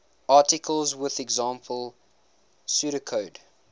articles with example pseudocode